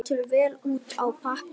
Lítur vel út á pappír.